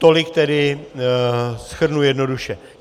Tolik tedy - shrnu jednoduše.